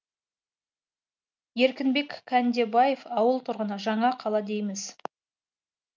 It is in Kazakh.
еркінбек кәндебаев ауыл тұрғыны жаңа қала дейміз